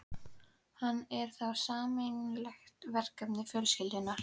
Hann er þá sameiginlegt verkefni fjölskyldunnar.